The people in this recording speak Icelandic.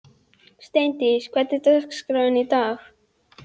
Steindís, hvernig er dagskráin í dag?